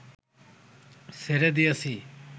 ছেড়ে দিয়েছি